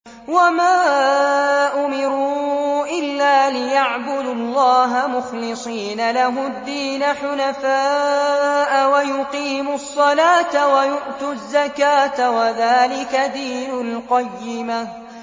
وَمَا أُمِرُوا إِلَّا لِيَعْبُدُوا اللَّهَ مُخْلِصِينَ لَهُ الدِّينَ حُنَفَاءَ وَيُقِيمُوا الصَّلَاةَ وَيُؤْتُوا الزَّكَاةَ ۚ وَذَٰلِكَ دِينُ الْقَيِّمَةِ